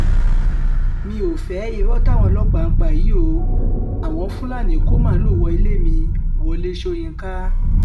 mi ò fẹ́ irọ́ táwọn ọlọ́pàá ń pa yìí o àwọn fúlàní kó màlùú wọ ilé mi wọlé ṣóyínká